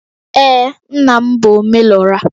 Ee, nna m bụ Omelora